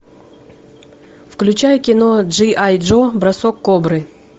включай кино джи ай джо бросок кобры